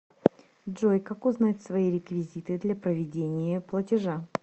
джой как узнать свои реквизиты для проведения платежа